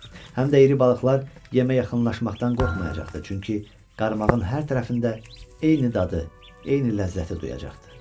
Həm də iri balıqlar yemə yaxınlaşmaqdan qorxmayacaqdı, çünki qarmağın hər tərəfində eyni dadı, eyni ləzzəti duyacaqdı.